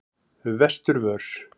Vesturvör